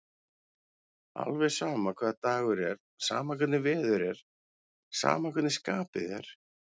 Alveg sama hvaða dagur er, sama hvernig veður er, sama hvernig skapið er.